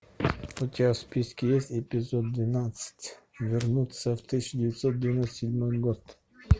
у тебя в списке есть эпизод двенадцать вернуться в тысяча девятьсот девяносто седьмой год